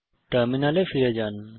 টার্মিনালে ফিরে যান